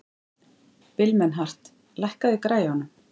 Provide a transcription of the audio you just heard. Vilmenhart, lækkaðu í græjunum.